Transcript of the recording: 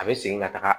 A bɛ segin ka taga